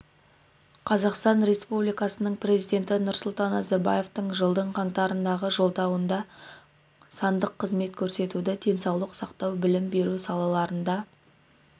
қазақстан республикасының президенті нұрсұлтан назарбаевтың жылдың қаңтарындағы жолдауында сандық қызмет көрсетуді денсаулық сақтау білім беру салаларында